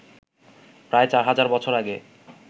প্রায় ৪ হাজার বছর আগে